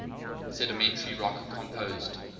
sedimentary rock composed